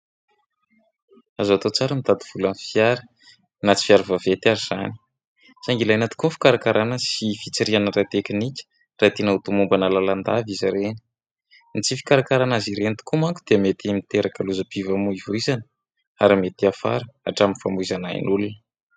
Azoi atao tsara ny mitady vola amin'ny fiara na tsy fiara vaventy ary izany. Saingy ilaina tokoa ny fikarakarana sy ny fitsirihana ara-tekinika raha tiana ho tomombana lalandava izy ireny. Ny tsy fikarakarana azy ireny tokoa manko dia mety miteraka lozam-pifamoivoizana ary mety hiafara hatramin'ny famoizana ain'olona.